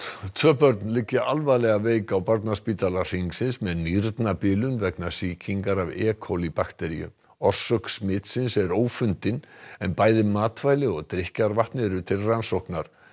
tvö börn liggja alvarlega veik á barnaspítala Hringsins með nýrnabilun vegna sýkingar af e bakteríu orsök smitsins er ófundin en bæði matvæli og drykkjarvatn eru til rannsóknar